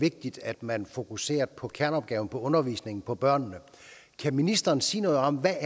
vigtigt at man fokuserer på kerneopgaven på undervisningen og på børnene kan ministeren sige noget om hvad